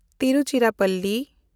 Tiruchirappalli